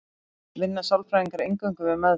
Vinna sálfræðingar eingöngu við meðferð?